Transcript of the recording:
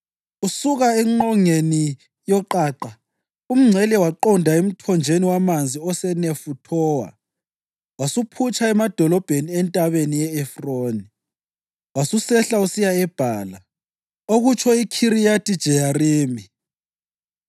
Usuka engqongeni yoqaqa, umngcele waqonda emthonjeni wamanzi aseNefuthowa, wasuphutsha emadolobheni eNtabeni ye-Efroni wasusehla usiya eBhala (okutsho iKhiriyathi-Jeyarimi).